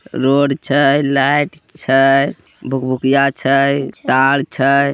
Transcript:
Road छय light छय भुकभुकीय छय ताड़ छय।